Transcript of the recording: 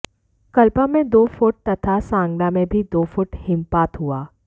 कल्पा में दो फुट तथा सांगला में भी दो फुट हिमपात हुआ